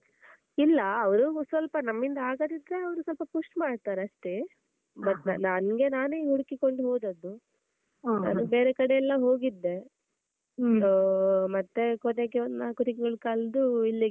ಇಲ್ಲ ಅವ್ರು ಸ್ವಲ್ಪ ನಮ್ಮಿಂದ ಆಗದಿದ್ರೆ ಅವ್ರು ಸ್ವಲ್ಪ push ಮಾಡ್ತಾರಷ್ಟೇ. but ನನ್ಗೆ ನಾನೇ ಹುಡುಕಿ ಕೊಂಡು ಹೋದದ್ದು, ಬೇರೆ ಕಡೆ ಎಲ್ಲ ಹೋಗಿದ್ದೆ ಆಹ್ ಮತ್ತೆ ಕೊನೆಗೆ ಒಂದ್ ನಾಲ್ಕು ತಿಂಗಳು ಕಳ್ಡು ಇಲ್ಲಿಗೆ.